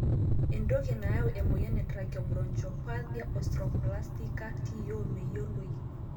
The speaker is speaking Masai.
entoki nayau emoyian e tracheobronchopathia osteoplastica (TO) meyioloi.